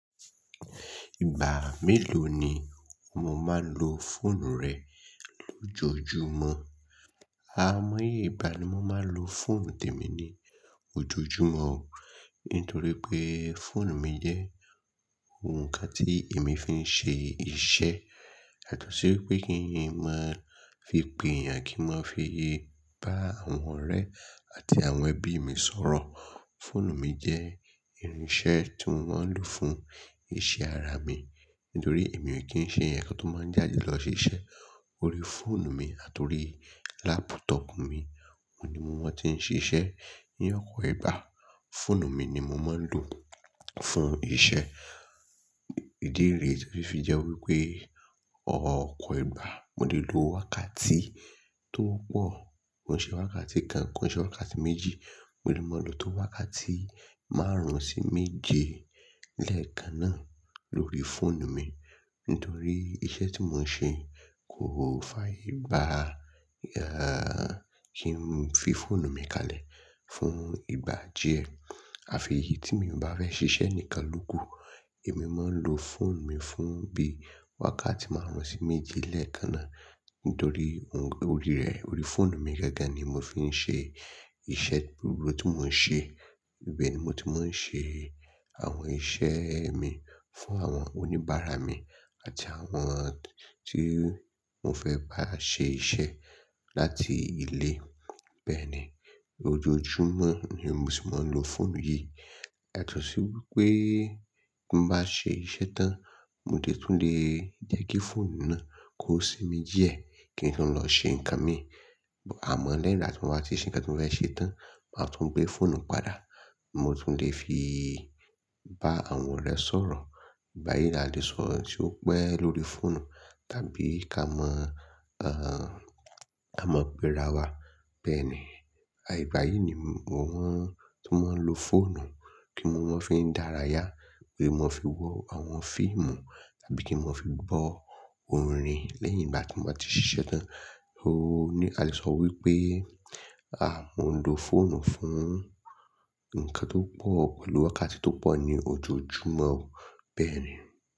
Ìgbà mélòó ni o máa ń lo fóònù rẹ lójoojúmọ́? Àìmọye ìgbà tí mo máa ń lo fóònù tèmi ní ojojúmọ́ o. Nítorí pé fóònù mi jẹ́ ǹkan tí èmi fi ń ṣe iṣẹ́. Yàtọ̀ sí wípé kí n lè máa fi pe eeyàn, kí n máa fi bá àwọn ọ̀rẹ́ àti àwọn ẹbí mi sọ̀rọ̀. Fóònù mi jẹ́ irinṣẹ́ tí mo ń lò fún iṣẹ́ ara mi. Nítorí èmi ò kí ń ṣe èèyàn tó máa ń jàde lọ ṣiṣẹ́. Orí fóònù mi àti orí laptop mi òun ni mo ti ń ṣiṣẹ́. Ní ọ̀pọ̀ ìgbà, fóònù mi ni mo máa ń lò fún iṣẹ́ ìdí rẹ̀ tó fi jẹ́ wípé ọ̀pọ̀ ìgbà mo lè lo wákàtí tó pọ̀. Kò n ṣe wákàtí kan, ko n ṣe wákàtí méjì, mo lè máa lo tó wákàtí márùn-ún sí méje lẹ́ẹ̀kan náà lórí fóònù mi. Nítorí iṣẹ́ tí mò ń ṣe kò fàyè gbá kí n fi fóònù mi kalẹ̀ fún ìgbà díẹ̀. Àfi èyí tí mi ò bá fẹ́ ṣiṣẹ́ nìkan lokù, èmi máa ń lo fóònù mi fún bí i wákàtí márùn-ún sí méje lẹ́ẹ̀kan náà. Nítorí orí rẹ̀, orí fóònù mi gẹ́gẹ́ ni mo fi ń ṣe iṣẹ́ gbogbo tí mò ń ṣe. Ibẹ̀ ni mo ti máa ń ṣe àwọn iṣẹ́ mi fún àwọn oníbàárà mi àti àwọn tí mo fẹ́ bá ṣe iṣẹ́ láti ilé. Bẹ́ẹ̀ni, ojoojúmọ́ ni mo sì máa ń lo fóònù yìí. Yàtọ̀ sí wípé tí n bá ṣe iṣẹ́ tán, mo lè tún lè jẹ́ kí fóònù náà kó sínmmi díẹ̀ kí n tó lọ ṣe nǹkan mii. Àmọ́ lẹ́yìn ìgbà tí mo bá ti ṣe ǹkan tí mo fẹ́ ṣe tán, màá tún gbé fóònù padà. Mo tún lè fi bá àwọn ọ̀rẹ́ sọ̀rọ̀. Báyìí la lè sọ̀rọ̀ tí ó pẹ́ lórí fóònù tàbí ká mọ, à, ká mọ pe ra wà. Bẹ́ẹ̀ni, ìgbà yìí ni mo ń tún máa ń lo fóònù kí ń máa fii dárayá, kí n máa fi wo àwọn fíìmù tàbí kí n máa fi gbọ́ orin lẹ́yìn ìgbà tí mo bá ti ṣiṣẹ́ tán. Oóò ni a lè sọ wípé, à, mo ń lo fóònù fún ǹkan tó pọ̀, olú wákàtí tó pọ̀ ní ojoojúmọ́ o. Bẹ́ẹ̀ni.